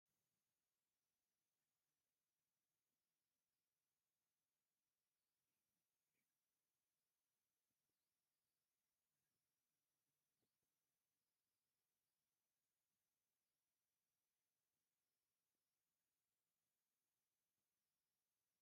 ኣብዚ ዝረአ ዘሎ ብዙሕ ጨናፍርን ብዙሕ ሕብሪ ዘለዎም እሾኽን ዘለዎም ተኽልታት ኣብ ሓደ በረኻዊ ከባቢ ብብዝሒ ተዘርጊሖም ይረኣዩ። እቶም ኣብ ስእሊ ዘለዉ እሾኽ ዘለዎም ተኽልታት ኣብ ከመይ ዝበለ ከባቢ እዮም ዝርከቡ?